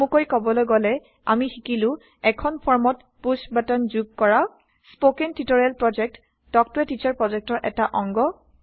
চমুকৈ কবলৈ গলে আমি শিকিলো এখন ফৰ্মত পুশ্ব বাটন যোগ কৰা spoken tutorial project talk to a teacher প্ৰজেক্টৰ অংশ